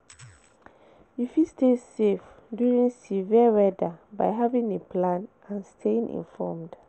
You fit stay safe during severe weather by having a plan and staying informed.